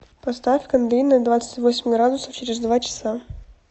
поставь кондей на двадцать восемь градусов через два часа